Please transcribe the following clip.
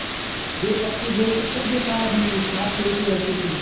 वे पक्के दोस्त थे जो सारा दिन एक साथ खेलते रहते थे